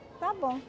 Tá bom.